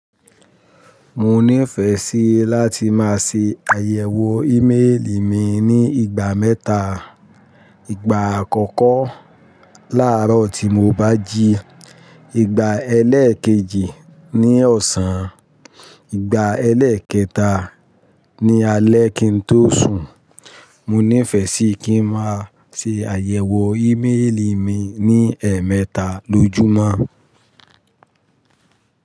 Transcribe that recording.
Mo ní ìfẹ́ sí láti máa ṣe àyẹ̀wò íméèlì mi ní ìgbà mẹ́ta. Ìgbà àkọ́kọ́ láàárọ̀ tí mo bá jí, ìgbà ẹlẹ́ẹ̀kejì ní ọ̀sán, ìgbà ẹlẹ́ẹ̀kẹta ní alẹ́ kín tó sùn. Mo ní ìfẹ́ sí kí n máa ṣe àyẹ̀wò íméèlì mi ní ẹmẹta lójúmọ́